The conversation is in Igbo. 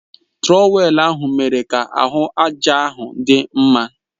Trọwèlu ahụ mere ka ahụ àjà ahụ dị mma